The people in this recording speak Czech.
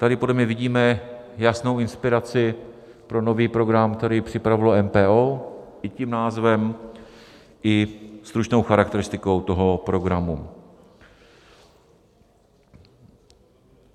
Tady podle mě vidíme jasnou inspiraci pro nový program, který připravilo MPO, i tím názvem, i stručnou charakteristikou toho programu.